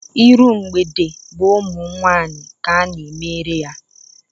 Iru mgbede bụ ụmụ nwaanyị ka ana-emere ya.